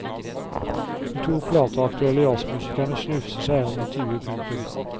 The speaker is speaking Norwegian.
De to plateaktuelle jazzmusikerne snufser seg gjennom intervjuet. punktum